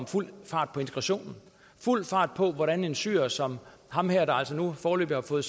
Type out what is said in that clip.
fuld fart på integrationen fuld fart på hvordan en syrer som ham her der altså nu foreløbig har fået